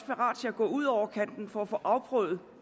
parate til at gå ud over kanten for at få afprøvet